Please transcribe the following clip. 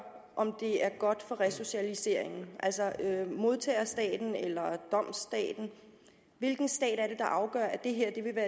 om det er godt for resocialiseringen altså er det modtagerstaten eller domsstaten hvilken stat er det der afgør at det